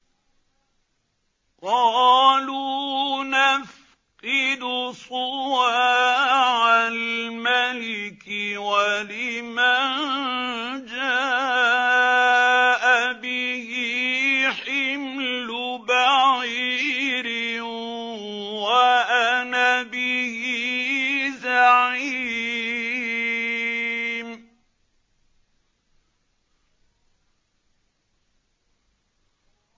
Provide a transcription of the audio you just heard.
قَالُوا نَفْقِدُ صُوَاعَ الْمَلِكِ وَلِمَن جَاءَ بِهِ حِمْلُ بَعِيرٍ وَأَنَا بِهِ زَعِيمٌ